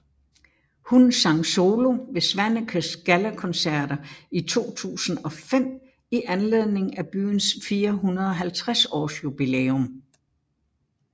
Hun sang solo ved Svanekes Gallakoncerter i 2005 i anledning af byens 450 års jubilæum